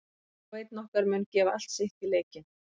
Hver og einn okkar mun gefa allt sitt í leikinn.